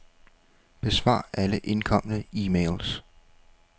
Besvar alle indkomne e-mails.